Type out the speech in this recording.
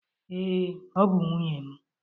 Ee, ọ bụ nwunye m.